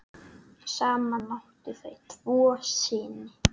Saman áttu þau tvo syni.